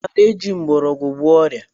I maara eji mgbọrọgwụ agwọ ọrịa?